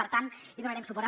per tant hi donarem suport